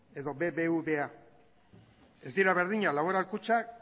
edo bbva ez dira berdinak laboral kutxa